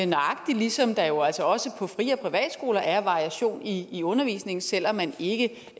nøjagtig ligesom der jo altså også på frie og private skoler er variation i i undervisningen selv om man ikke